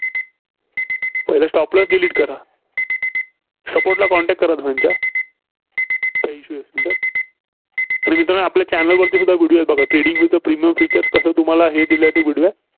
पहिलं stop loss delete करा. Support ला contact करा धनीच्या. काय issue असेल तर. तर मित्रांनो आपल्या channel वरती video आहेत बघा. trading वरचं premium feature कसं तुम्हाला हे video